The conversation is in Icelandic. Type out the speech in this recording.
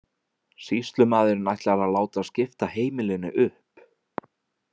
Sýslumaðurinn ætlar að láta skipta heimilinu upp.